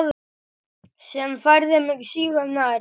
Sem færði mig sífellt nær